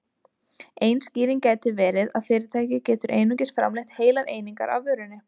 Ein skýring gæti verið að fyrirtæki getur einungis framleitt heilar einingar af vörunni.